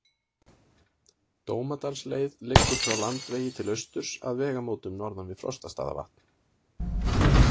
Dómadalsleið liggur frá Landvegi til austurs að vegamótum norðan við Frostastaðavatn.